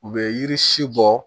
U bɛ yiri si bɔ